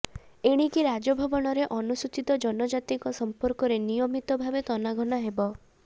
ଏଣିକି ରାଜଭବନରେ ଅନୁସୂଚିତ ଜନଜାତିଙ୍କ ସଂପର୍କରେ ନିୟମିତ ଭାବେ ତନାଘନା େହବ